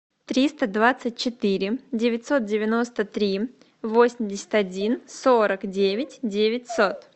триста двадцать четыре девятьсот девяносто три восемьдесят один сорок девять девятьсот